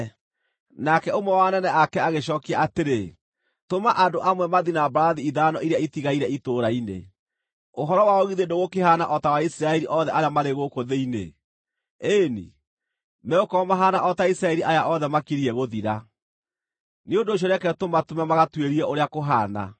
Nake ũmwe wa anene ake agĩcookia atĩrĩ, “Tũma andũ amwe mathiĩ na mbarathi ithano iria itigaire itũũra-inĩ. Ũhoro wao githĩ ndũgũkĩhaana o ta wa Isiraeli othe arĩa marĩ gũkũ thĩinĩ. Ĩĩ-ni, megũkorwo mahaana o ta Isiraeli aya othe makiriĩ gũthira. Nĩ ũndũ ũcio reke tũmatũme magatuĩrie ũrĩa kũhaana.”